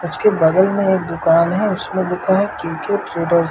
उसके बगल में एक दुकान है उसमें लिखा है क्रिकेट ट्रेडर्स --